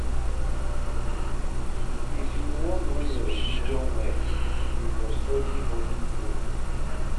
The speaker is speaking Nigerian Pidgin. If you wan know your religion well, you go study Holy book.